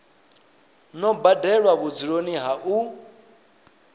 no badelwa vhudzuloni ha u